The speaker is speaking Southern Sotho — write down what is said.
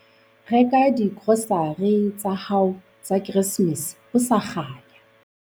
Reka digrosare tsa hao tsa Keresemese ho sa kganya.